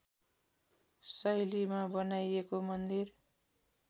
शैलीमा बनाइएको मन्दिर